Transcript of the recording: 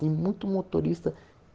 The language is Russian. ему туриста